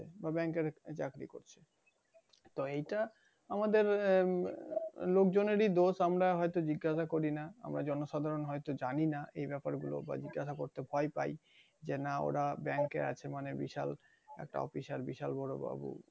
তো এইটা আমাদের আহ লোকজনেরই দোষ আমরা হয়তো জিজ্ঞাসা করি না। আমরা জনগণ হয়তো জানি না এই ব্যপারগুলো জিজ্ঞাসা করতে ভয় পায়। যে না ওরা bank এ আছে মানে বিশাল একটা officer বিশাল বড় বাবু।